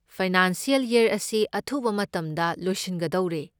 Financial ꯌꯔ ꯑꯁꯤ ꯑꯊꯨꯕ ꯃꯇꯝꯗ ꯂꯣꯏꯁꯤꯟꯒꯗꯧꯔꯦ꯫